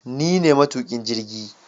Ni ne maitukin jirgi